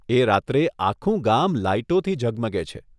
એ રાત્રે આખું ગામ લાઈટોથી ઝગમગે છે.